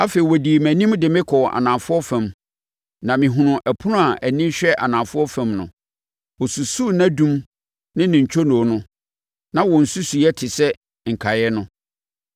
Afei ɔdii mʼanim de me kɔɔ anafoɔ fam, na mehunuu ɛpono a ani hwɛ anafoɔ fam no. Ɔsusuu nʼadum ne ntwonoo no, na wɔn nsusuiɛ te sɛ nkaeɛ no.